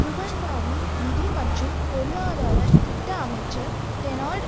ருவண்டாவின் நிதி மற்றும் பொருளாதார திட்ட அமைச்சர் டேனால்ட்